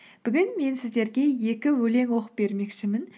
бүгін мен сіздерге екі өлең оқып бермекшімін